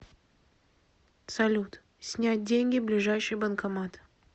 салют снять деньги ближайший банкомат